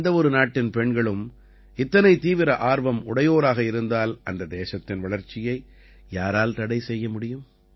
எந்த ஒரு நாட்டின் பெண்களும் இத்தனை தீவிர ஆர்வம் உடையோராக இருந்தால் அந்த தேசத்தின் வளர்ச்சியை யாரால் தடை செய்ய முடியும்